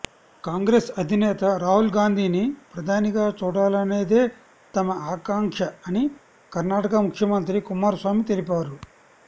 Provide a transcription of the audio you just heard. కాంగ్రెస్ అధినేత రాహుల్ గాంధీని ప్రధానిగా చూడాలనేదే తమ ఆకాంక్ష అని కర్ణాటక ముఖ్యమంత్రి కుమారస్వామి తెలిపారు